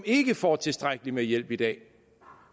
ikke får tilstrækkelig hjælp i dag